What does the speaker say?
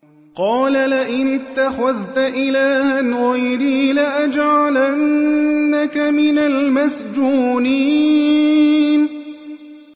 قَالَ لَئِنِ اتَّخَذْتَ إِلَٰهًا غَيْرِي لَأَجْعَلَنَّكَ مِنَ الْمَسْجُونِينَ